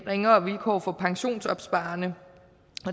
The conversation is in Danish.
ringere vilkår for pensionsopsparerne